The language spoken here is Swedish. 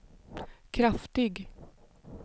kraftig